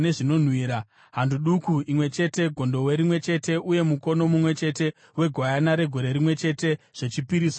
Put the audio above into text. hando duku imwe chete, gondobwe rimwe chete uye mukono mumwe chete wegwayana regore rimwe chete, zvechipiriso chinopiswa;